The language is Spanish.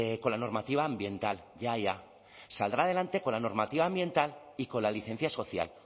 con la normativa ambiental ya ya saldrá adelante con la normativa ambiental y con la licencia social